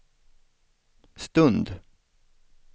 stund